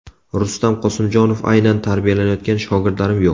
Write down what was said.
Rustam Qosimjonov: Aynan tarbiyalayotgan shogirdlarim yo‘q.